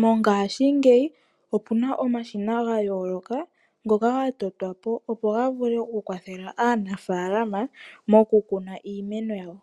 Mongaashingeyi opu na omashina ga yooloka ngoka ga totwa po, opo ga vule oku kwathela aanafaalama moku kuna iimeno yawo.